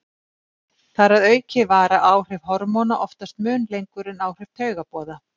Þar að auki vara áhrif hormóna oftast mun lengur en áhrif taugaboða.